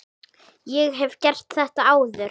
Ég hef gert þetta áður.